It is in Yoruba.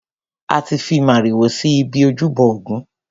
A ti fi màrìwò si ibi ojúbọ ògún.